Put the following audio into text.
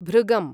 भृगम्